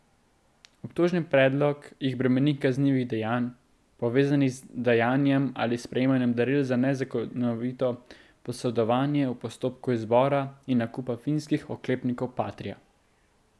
Obtožni predlog jih bremeni kaznivih dejanj, povezanih z dajanjem ali sprejemanjem daril za nezakonito posredovanje v postopku izbora in nakupa finskih oklepnikov patria.